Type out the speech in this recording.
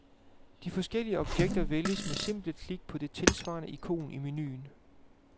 De forskellige objekter vælges ved simple klik på det tilsvarende ikon i menuen.